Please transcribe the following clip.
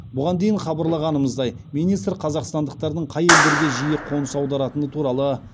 бұған дейін хабарлағанымыздай министр қазақстандықтардың қай елдерге жиі қоныс аударатыны туралы